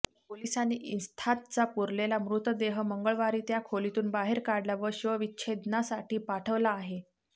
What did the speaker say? पोलिसांनी इन्साथचा पुरलेला मृतदेह मंगळवारी त्या खोलीतून बाहेर काढला व शवविच्छेदनासाठी पाठव ला आहे